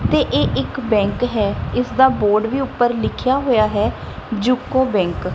ਤੇ ਇਹ ਇੱਕ ਬੈਂਕ ਹੈ ਇਸ ਦਾ ਬੋਰਡ ਵੀ ਉੱਪਰ ਲਿਖਿਆ ਹੋਇਆ ਹੈ ਜੁਕੋ ਬੈਂਕ ।